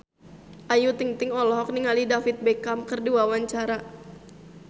Ayu Ting-ting olohok ningali David Beckham keur diwawancara